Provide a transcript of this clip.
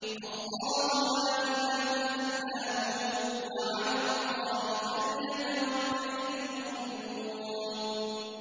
اللَّهُ لَا إِلَٰهَ إِلَّا هُوَ ۚ وَعَلَى اللَّهِ فَلْيَتَوَكَّلِ الْمُؤْمِنُونَ